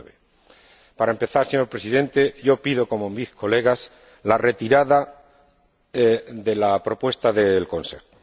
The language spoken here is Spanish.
2009. Para empezar, señor Presidente, pido —como mis colegas— la retirada de la propuesta del Consejo.